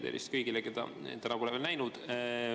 Ja tervist kõigile, keda täna pole veel näinud!